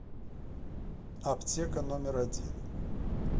аптека номер один